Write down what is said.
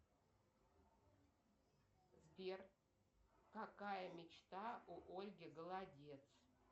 сбер какая мечта у ольги голодец